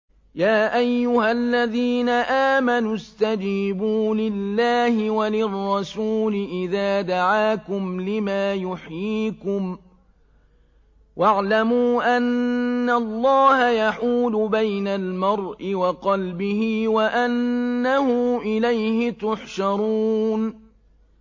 يَا أَيُّهَا الَّذِينَ آمَنُوا اسْتَجِيبُوا لِلَّهِ وَلِلرَّسُولِ إِذَا دَعَاكُمْ لِمَا يُحْيِيكُمْ ۖ وَاعْلَمُوا أَنَّ اللَّهَ يَحُولُ بَيْنَ الْمَرْءِ وَقَلْبِهِ وَأَنَّهُ إِلَيْهِ تُحْشَرُونَ